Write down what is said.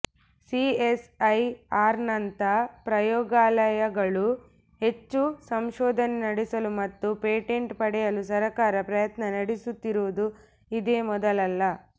ಸಿಎಸ್ಐಆರ್ನಂಥ ಪ್ರಯೋಗಾಲಯ ಗಳು ಹೆಚ್ಚು ಸಂಶೋಧನೆ ನಡೆಸಲು ಮತ್ತು ಪೇಟೆಂಟ್ ಪಡೆಯಲು ಸರಕಾರ ಪ್ರಯತ್ನ ನಡೆಸುತ್ತಿರುವುದು ಇದೇ ಮೊದಲಲ್ಲ